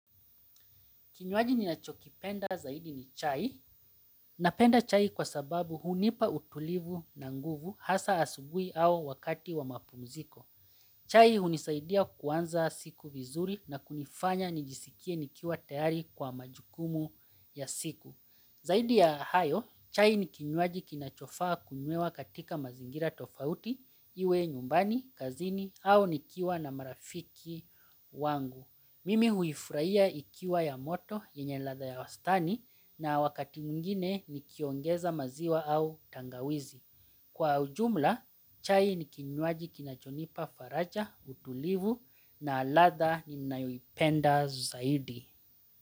Kinywaji ninachokipenda zaidi ni chai. Napenda chai kwa sababu hunipa utulivu na nguvu hasa asubuhi au wakati wa mapumziko. Chai hunisaidia kuanza siku vizuri na kunifanya nijisikie nikiwa tayari kwa majukumu ya siku. Zaidi ya hayo, chai ni kinywaji kinachofaa kunywewa katika mazingira tofauti, iwe nyumbani, kazini au nikiwa na marafiki wangu. Mimi huifurahia ikiwa ya moto yenye ladha ya wastani na wakati mwingine nikiongeza maziwa au tangawizi. Kwa ujumla, chai ni kinywaji kinachonipa faraja, utulivu na ladha ninayoipenda zaidi.